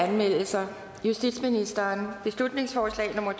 anmeldelser justitsministeren beslutningsforslag nummer